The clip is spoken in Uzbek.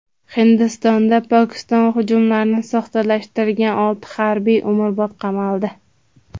Hindistonda Pokiston hujumlarini soxtalashtirgan olti harbiy umrbod qamaldi.